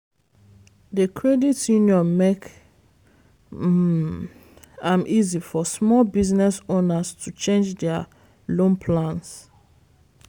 the credit union make um am easy for small business owners to change their loan plans.